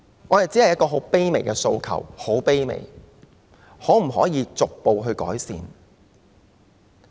我只有一個很卑微的訴求，就是可否逐步改善？